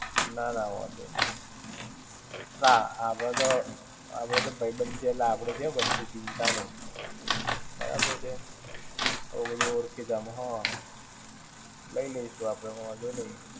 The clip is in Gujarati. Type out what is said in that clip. ના ના. વાંધો નહિ. ને આપણે તો, આપણ તો ભાઈબંધ છે એટલે આપણે ક્યાં વચ્ચે ચિંતા નહિ. બરાબર છે. હવે બધું ઓળખીતામાં હા, લઇ લઈશું આપણે વાંધો નહિ.